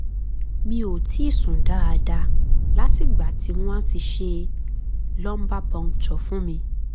mi ò tíì sùn dáadáa látìgbà tí wọ́n ti ṣe lumbar puncture fún mi